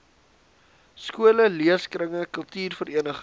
skole leeskringe kultuurverenigings